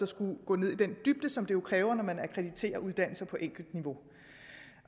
skulle gå ned i den dybde som det jo kræver når man akkrediterer uddannelser på enkeltniveau